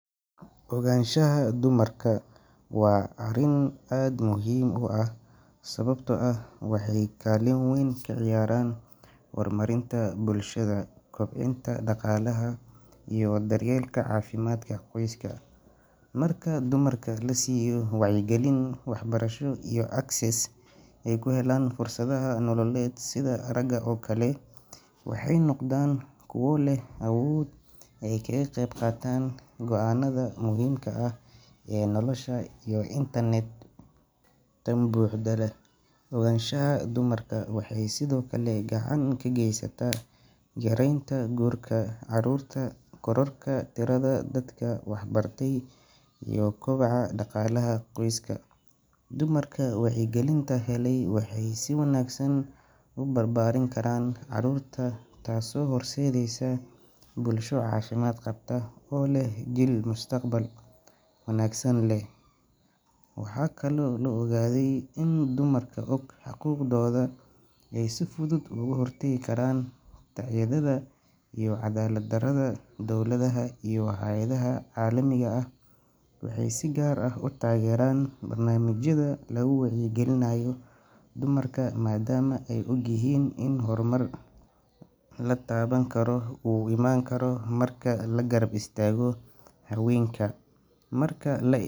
Ogaanshaha dumarka waa arrin aad muhiim u ah sababtoo ah waxay kaalin weyn ka ciyaaraan horumarinta bulshada, kobcinta dhaqaalaha iyo daryeelka caafimaadka qoyska. Marka dumarka la siiyo wacyigelin, waxbarasho iyo access ay ku helaan fursadaha nololeed sida ragga oo kale, waxay noqdaan kuwo leh awood ay kaga qayb qaataan go'aanada muhiimka ah ee noloshooda iyo tan bulshada. Ogaanshaha dumarka waxay sidoo kale gacan ka geysataa yareynta guurka caruurta, kororka tirada dadka waxbartay iyo koboca dhaqaalaha qoyska. Dumarka wacyigelinta helay waxay si wanaagsan u barbaarin karaan carruurta, taasoo horseedaysa bulsho caafimaad qabta oo leh jiil mustaqbal wanaagsan leh. Waxaa kaloo la ogaaday in dumarka og xuquuqdooda ay si fudud uga hortagi karaan tacadiyada iyo cadaalad-darrada. Dowladaha iyo hay’adaha caalamiga ah waxay si gaar ah u taageeraan barnaamijyada lagu wacyigelinayo dumarka maadaama ay og yihiin in horumar la taaban karo uu iman karo marka la garab istaago haweenka. Marka la eego.